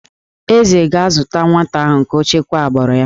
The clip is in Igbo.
Eze ga-azụta nwata ahụ ka o chekwaa agbụrụ ya